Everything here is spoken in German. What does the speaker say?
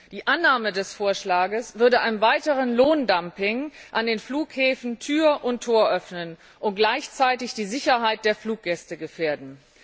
Die Annahme des Vorschlags würde einem weiteren Lohndumping an den Flughäfen Tür und Tor öffnen und gleichzeitig die Sicherheit der Fluggäste gefährden.